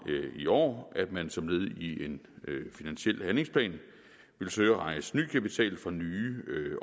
i år at man som led i en finansiel handlingsplan ville søge at rejse ny kapital fra nye